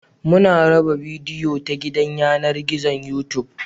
Muna raba bidiyo ta gidan yanar gizon Youtube